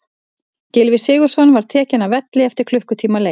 Gylfi Sigurðsson var tekinn af velli eftir klukkutíma leik.